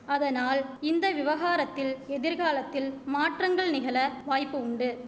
அதனால் இந்த விவகாரத்தில் எதிர்காலத்தில் மாற்றங்கள் நிகழ வாய்ப்பு உண்டு